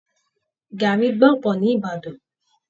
Gàrrí gbọ̀pọ̀ ní Ìbàdàn.